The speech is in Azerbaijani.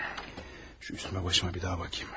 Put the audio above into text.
Şu üstümə başıma bir daha baxım.